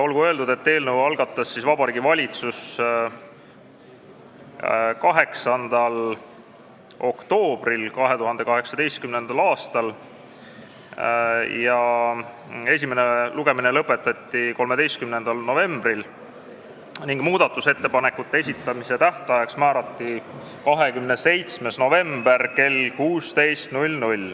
Olgu öeldud, et eelnõu algatas Vabariigi Valitsus 8. oktoobril 2018. aastal, esimene lugemine lõpetati 13. novembril ning muudatusettepanekute esitamise tähtajaks määrati 27. november kell 16.